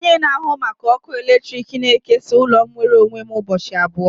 Onye na-ahụ maka ọkụ eletrik na-ekesa ụlọ m nwere onwe m ụbọchị abụọ